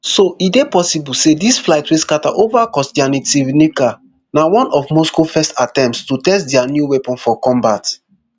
so e dey possible say dis flight wey scata ova kostyantynivka na one of moscow first attempts to test dia new weapon for combat